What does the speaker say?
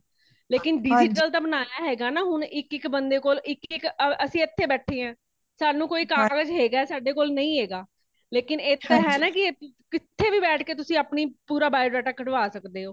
ਲੇਕਿਨ digital ਤਾ ਬਨਾਣਾ ਹੇਗਾ, ਨਾ ਹੁਣ ਇਕ, ਇਕ ਬੰਦੇ ਕੋਲ ਇਕ ,ਇਕ ਅਸੀ ਇਥੇ ਬੈਠੇ ਹਾਂ ,ਸਾਨੂ ਕੋਈ ਕਾਗਜ ਹੇਗਾ ਆ ਸਾਡੇ ਕੋਲ ਨਹੀਂ ਹੇਗਾ ਲੇਕਿਨ ਇਹ ਤਾ ਹੇਨਾ ਕਿੱਥੇ ਵੀ ਬੈਠ ਕੇ ਅਪਣਾ ਪੂਰਾ biodata ਕੱਢਵਾ ਸੱਕਦੇ ਹੋ